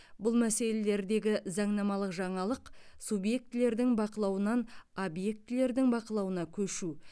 бұл мәселелердегі заңнамалық жаңалық субъектілердің бақылауынан объектілердің бақылауына көшу